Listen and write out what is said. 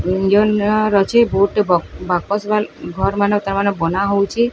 ବୋହୁତଟି ବ୍ ବାପସ ମାନେ ଘର୍ ମାନେ ତାମନେ ବନା ହୋଉଚି।